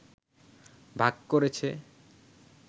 ভাগ করেছে